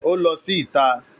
Ó lọ sí ìta